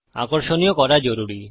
আকর্ষণীয় করা জরুরী